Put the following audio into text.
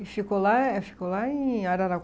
E ficou lá, e ficou lá em